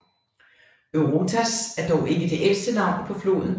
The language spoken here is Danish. Eurotas er dog ikke det ældste navn på floden